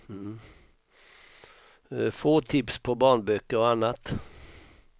Få tips på barnböcker och annat.